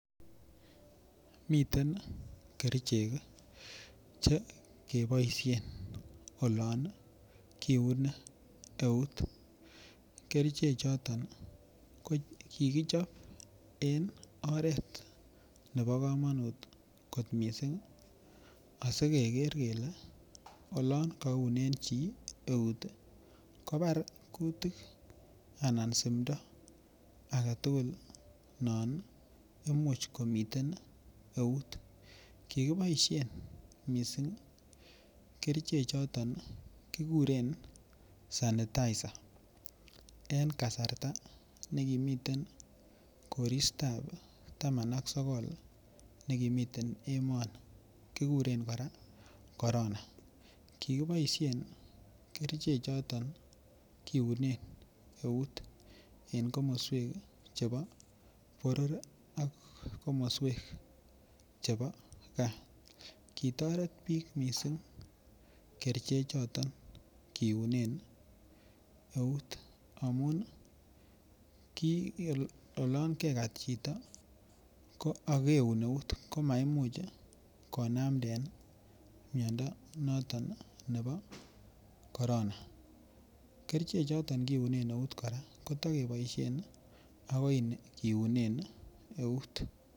Miten kerchek che kepoishen olon kiuni eut kerchek choton ko kigichop en oret nepo komanut kot mising' asikeger kele olon kaunen chi eut kopar kutik anan sumdo agetugul non imuch komiten eut kigipoishen mising' kerchek choton kiguren sanitizer en kasarta nekimiten Koristab taman ak sogol nekimiten emoni kiguren koraa Corona kigopoishen kerchek choton kiune eut en komoswek chepo poror ak komoswek chepo kaa kitoret piik mising' kerchek choton keunen eut amun ki olon kegat chito ako ageun eut komaich konamden miondo notok nepo Corona kerchek choton keune keut koraa kotigepoishen akoy keunen eut.